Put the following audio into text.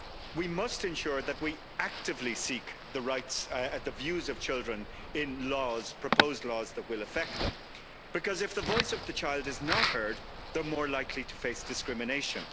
We must ensure that we actively seek the views of children in proposed laws that will affect them, because if the voice of the child is not heard, they are more likely to face discrimination.